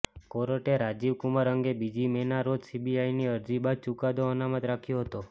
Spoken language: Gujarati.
કોર્ટે રાજીવ કુમાર અંગે બીજી મેના રોજ સીબીઆઈની અરજી બાદ ચુકાદો અનામત રાખ્યો હતો